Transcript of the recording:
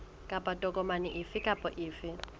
kapa tokomane efe kapa efe